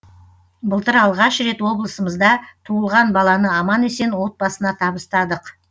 былтыр алғаш рет облысымызда туылған баланы аман есен отбасына табыстадық